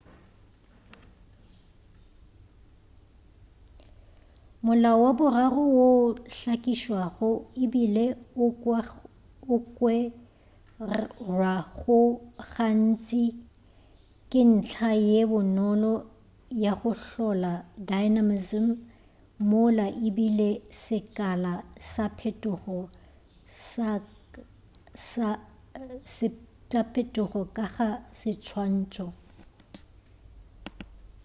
molao wa boraro wo o hlakišwago ebile o kwerwago gantši ke ntlha ye bonolo ya go hlola dynamism mola e beile sekala sa phetogo ka ga seswantšho